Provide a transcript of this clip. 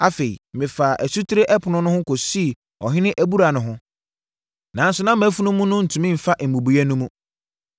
Afei, mefaa Asutire Ɛpono no ho kɔsii Ɔhene Abura no ho, nanso na mʼafunumu no ntumi mfa mmubuiɛ no mu.